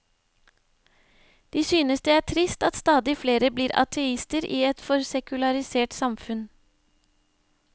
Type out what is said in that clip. De synes det er trist at stadig flere blir ateister i et for sekularisert samfunn.